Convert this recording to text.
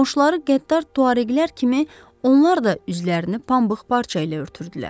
Qonşuları qəddar tuareqlər kimi, onlar da üzlərini pambıq parça ilə örtürdülər.